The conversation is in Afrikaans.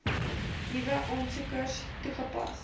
nuwe aansoekers toegepas